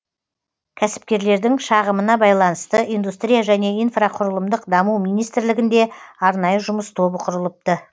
кәсіпкерлердің шағымына байланысты индустрия және инфрақұрылымдық даму министрлігінде арнайы жұмыс тобы құрылыпты